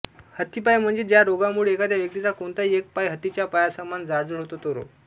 हत्तीपाय म्हणजे ज्या रोगामुळे एखाद्या व्यक्तिचा कोणताही एक पाय हत्तीच्या पायासमान जाडजुड होतो तो रोग